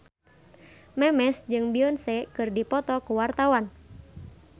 Memes jeung Beyonce keur dipoto ku wartawan